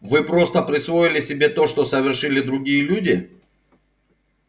вы просто присвоили себе то что совершили другие люди